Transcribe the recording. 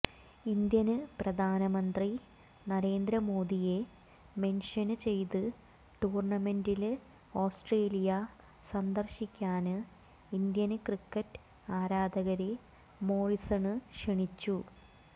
Indian പ്രധാനമന്ത്രി നരേന്ദ്ര മോദിയെ mention ചെയ്ത് ടൂര്ണമെന്റില് ഓസ്ട്രേലിയ സന്ദര്ശിക്കാന് ഇന്ത്യന് ക്രിക്കറ്റ് ആരാധകരെ മോറിസണ് ക്ഷണിച്ചു